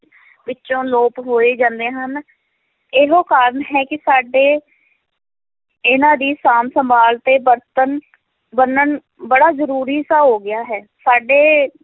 ਵਿੱਚੋਂ ਲੋਪ ਹੋਏ ਜਾਂਦੇ ਹਨ, ਇਹੋ ਕਾਰਨ ਹੈ ਕਿ ਸਾਡੇ ਇਹਨਾਂ ਦੀ ਸਾਂਭ ਸੰਭਾਲ ਤੇ ਵਰਤਣ ਵਰਣਨ ਬੜਾ ਜ਼ਰੂਰੀ ਸਾ ਹੋ ਗਿਆ ਹੈ, ਸਾਡੇ